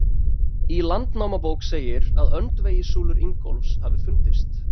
Í Landnámabók segir að öndvegissúlur Ingólfs hafi fundist.